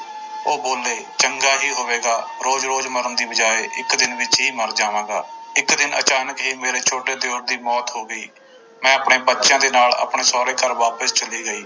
ਉਹ ਬੋਲੇ ਚੰਗਾ ਹੀ ਹੋਵੇਗਾ ਰੋਜ਼ ਰੋਜ਼ ਮਰਨ ਦੀ ਬਜਾਏੇ ਇੱਕ ਦਿਨ ਵਿੱਚ ਹੀ ਮਰ ਜਾਵਾਂਗਾ, ਇੱਕ ਦਿਨ ਅਚਾਨਕ ਹੀ ਮੇਰੇ ਛੋਟੇ ਦਿਓਰ ਦੀ ਮੌਤ ਹੋ ਗਈ, ਮੈਂ ਆਪਣੇ ਬੱਚਿਆਂ ਦੇ ਨਾਲ ਆਪਣੇ ਸਹੁਰੇ ਘਰ ਵਾਪਸ ਚਲੀ ਗਈ।